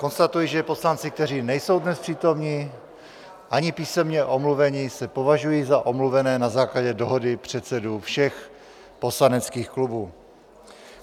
Konstatuji, že poslanci, kteří nejsou dnes přítomni ani písemně omluveni, se považují za omluvené na základě dohody předsedů všech poslaneckých klubů.